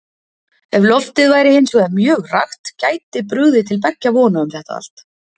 Ef loftið væri hins vegar mjög rakt gæti brugðið til beggja vona um þetta allt.